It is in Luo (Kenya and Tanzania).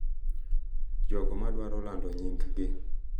Jogo ma dwaro lando nying’gi.